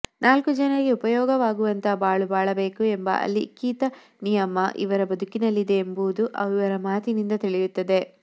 ನಾಲ್ಕು ಜನರಿಗೆ ಉಪಯೋಗವಾಗುವಂಥ ಬಾಳು ಬಾಳಬೇಕು ಎಂಬ ಅಲಿಖೀತ ನಿಯಮ ಇವರ ಬದುಕಿನಲ್ಲಿದೆ ಎಂಬುದು ಇವರ ಮಾತಿನಿಂದ ತಿಳಿಯುತ್ತದೆ